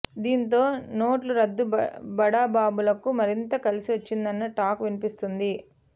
దీంతో నోట్ల రద్దు బడాబాబులకు మరింత కలిసి వచ్చిందన్న టాక్ వినిపిస్తోంది